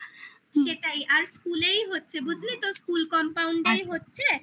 সেটাই আর school এই হচ্ছে বুঝলি তো school compound এই হচ্ছে